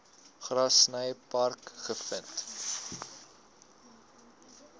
grassy park gevind